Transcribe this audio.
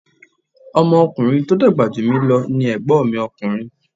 Ọmọ ọkùnrin tí o dàgbà jù mí lo ni Ègbón mi ọkùnrin